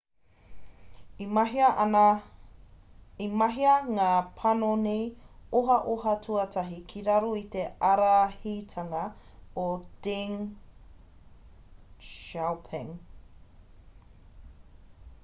i mahia ngā panoni ohaoha tuatahi ki raro i te ārahitanga o deng xiaoping